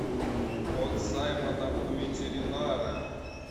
кот саймона у ветеринара